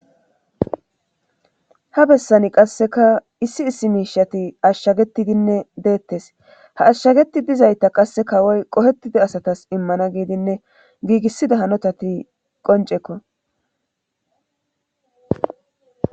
ha bessani qasseka issi issi miishati ashshagetidinne deettes ha ashshageti dizayta qasse kawoy qohettida asatas immana giidinne giigissida hanotati qoncekko